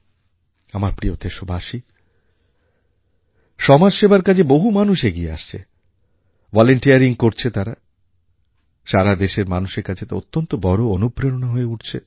আমার প্রিয় দেশবাসী সমাজসেবার কাজে বহু মানুষ এগিয়ে আসছে ভলেন্টিয়ারিং করছে তারা সারা দেশের মানুষের কাছে তা অত্যন্ত বড় অনুপ্রেরণা হয়ে উঠছে